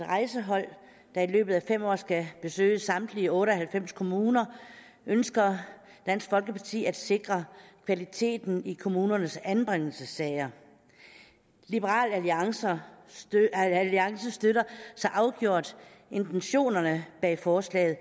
rejsehold der i løbet af fem år skal besøge samtlige otte og halvfems kommuner ønsker dansk folkeparti at sikre kvaliteten i kommunernes anbringelsessager liberal alliance støtter så afgjort intentionerne bag forslaget